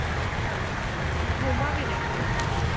আচ্ছা. ঘুমাবি নাকি?